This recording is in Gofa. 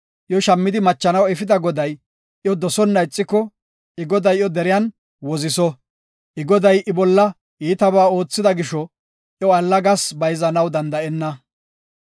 Iyo shammidi machanaw efida goday iyo dosona ixiko, I goday iyo deriyan woziso. I goday I bolla iitabaa oothida gisho, iyo allagas bayzanaw danda7ena.